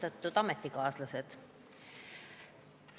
Austatud ametikaaslased!